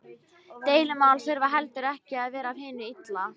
Deilumál þurfa heldur ekki að vera af hinu illa.